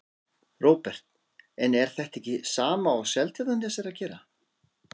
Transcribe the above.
Róbert: En er þetta ekki sama og Seltjarnarnes er að gera?